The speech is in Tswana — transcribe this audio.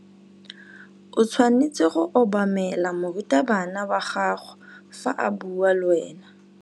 O tshwanetse go obamela morutabana wa gago fa a bua le wena.